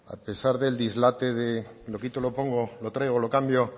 a pesar del dislate lo quito lo pongo lo traigo lo cambio